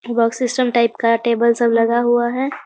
Box system type का table सब लगा हुआ है।